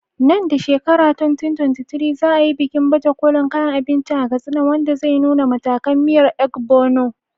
Nan da shekarar 2023, za a yi bikin baje kolin kayan abinci a Katsina, wanda zai nuna matakan miyar Ogbono.